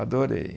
Adorei.